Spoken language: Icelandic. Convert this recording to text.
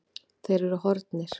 Þeir eru horfnir.